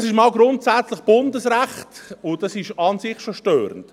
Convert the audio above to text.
Das ist mal grundsätzlich Bundesrecht, und das ist an sich schon störend.